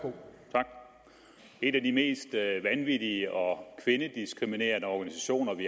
tak en af de mest vanvittige og kvindediskriminerende organisationer vi